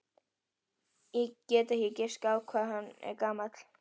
Ég get ekki giskað á hvað hann er gamall.